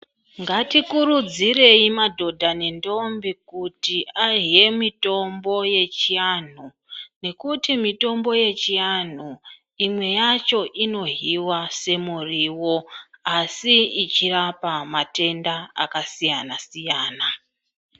Ngatikurudzirei madhodha nentombi kuti ahe mitombo yechianhu nekuti mitombo yechianhu imwe yacho inohiwa semuriwo asi ichirapa matenda akasiyana siyana.